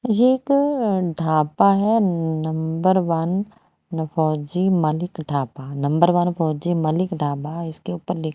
ये एक ढाबा है number one Fauji Malik Dhaba number one Fauji Malik Dhaba इसके ऊपर लिख--